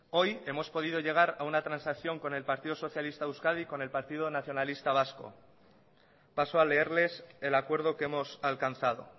hoy hemos podido llegar a una transacción con el partido socialista de euskadi con el partido nacionalista vasco paso a leerles el acuerdo que hemos alcanzado